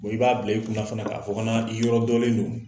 I b'a bila i kunnan fana k'a fɔ ko n'an bi yɔrɔdɔnlen don